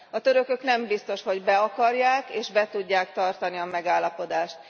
A törökök nem biztos, hogy be akarják és be tudják tartani a megállapodást.